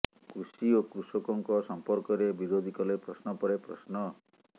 କୃଷି ଓ କୃଷକଙ୍କ ସମ୍ପର୍କରେ ବିରୋଧୀ କଲେ ପ୍ରଶ୍ନ ପରେ ପ୍ରଶ୍ନ